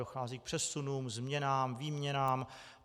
Dochází k přesunům, změnám, výměnám.